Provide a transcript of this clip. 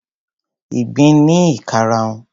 Ìgbín ní ìkarahun.